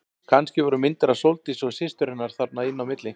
Kannski voru myndir af Sóldísi og systur hennar þarna inn á milli.